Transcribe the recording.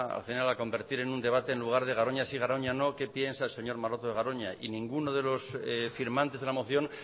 al final a convertir en un debate en lugar de garoña sí garoña no qué piensa el señor maroto de garoña y ninguno de los firmantes de la moción